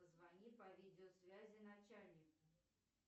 позвони по видеосвязи начальнику